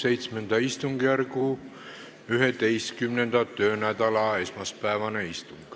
Täiskogu VII istungjärgu 11. töönädala esmaspäevane istung.